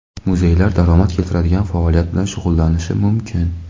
Muzeylar daromad keltiradigan faoliyat bilan shug‘ullanishi mumkin.